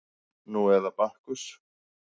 Nú eða Bakkus